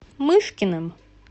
мышкиным